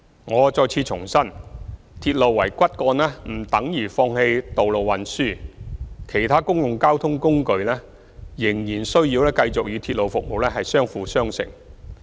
我再次重申，鐵路為骨幹不等於放棄道路運輸，其他公共交通工具仍然需要繼續與鐵路服務相輔相成。